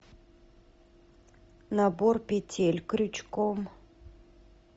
набор петель крючком